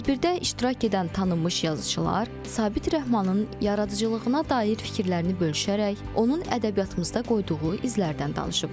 Tədbirdə iştirak edən tanınmış yazıçılar Sabit Rəhmanın yaradıcılığına dair fikirlərini bölüşərək, onun ədəbiyyatımızda qoyduğu izlərdən danışıblar.